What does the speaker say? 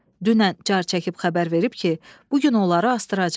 Dünən car çəkib xəbər verib ki, bu gün onları asdıracaq.